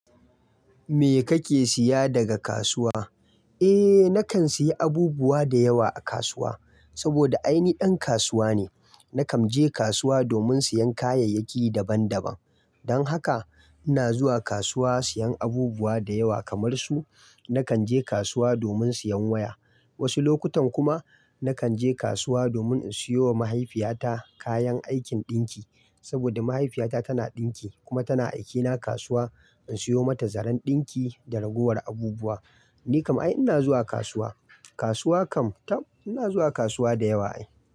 Me kake siya daga kasuwa? Eh, nakan sayi abubuwa da yawa a kasuwa, saboda ai ni ɗan kasuwa ne. Nakan je kasuwa domin siyan kayayyaki daban daban. Dan haka ina zuwa kasuwa siyan abubuwa da yawa kamar su: Nakan je kasuwa domin siyan waya, wasu lokutan kuma nakan je kasuwa domin in siyo wa mahaifiyata kayan aikin ɗinki, saboda mahaifiyata tana ɗinki kuma tana aikena kasuwa in siyo mata zaren ɗinki da ragowar abubuwa. Ni kam ai ina zuwa kasuwa. Kasuwa kam taɓ, ina zuwa kasuwa da yawa ai.